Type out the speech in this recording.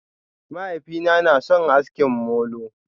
Mahaifina na sun aski molo.